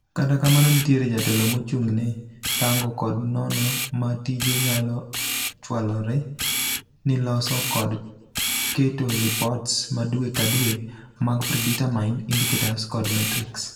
Kata kamanom, nitiere jatelo mochung'ne rango kod nono ma tije nyalo chwalore ni loso kod keto lipots madwee kadwee mag predermined idicators kod metrics.